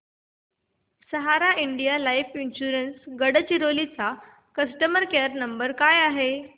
सहारा India life insurance Gadchiroli चा customer care number काय आहे